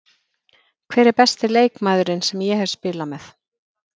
Hver er besti leikmaðurinn sem ég hef spilað með?